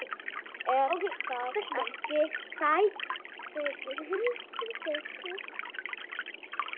Er það ekki satt, Siggi?